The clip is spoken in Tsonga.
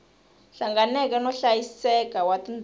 hlanganeke no hlayiseka wa tindhawu